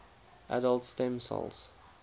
adult stem cells